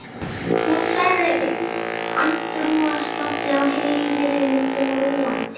Hún sagði andrúmsloftið á heimilinu þrúgandi.